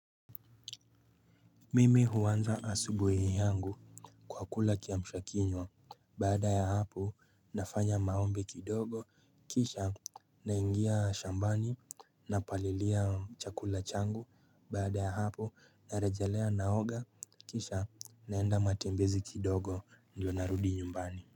Mimi huanza asubuhi yangu kwa kula kiamsha kinywa baada ya hapo nafanya maombi kidogo kisha naingia shambani napalilia chakula changu baada ya hapo narejelea naoga kisha naenda matembezi kidogo ndio narudi nyumbani.